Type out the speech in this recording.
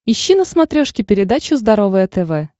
ищи на смотрешке передачу здоровое тв